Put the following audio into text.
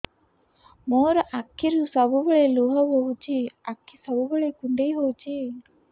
ମୋର ଆଖିରୁ ସବୁବେଳେ ଲୁହ ବୋହୁଛି ଆଖି ସବୁବେଳେ କୁଣ୍ଡେଇ ହଉଚି